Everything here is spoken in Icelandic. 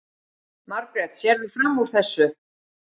Margrét: Sérðu fram úr þessu?